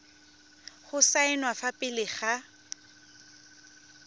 go saenwa fa pele ga